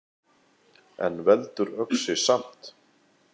En veldur öxi samt!